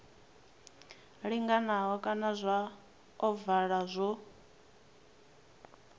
linganaho kana zwa ovala zwo